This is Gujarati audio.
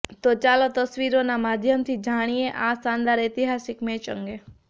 તો ચાલો તસવીરોના માધ્યમથી જાણીએ આ શાનદાર ઐતિહાસિક મેચ અંગે